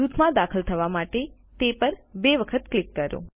જૂથમાં દાખલ થવા માટે તે પર બે વખત ક્લિક કરો